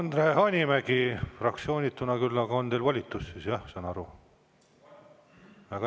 Andre Hanimägi, küll fraktsioonituna – teil on volitus, saan aru, väga hea!